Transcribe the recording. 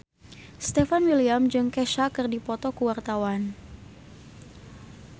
Stefan William jeung Kesha keur dipoto ku wartawan